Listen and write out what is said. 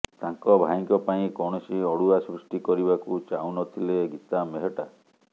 ତାଙ୍କ ଭାଇଙ୍କ ପାଇଁ କୌଣସି ଅଡୁଆ ସୃଷ୍ଟି କରିବାକୁ ଚାହୁଁ ନଥିଲେ ଗୀତା ମେହଟ୍ଟା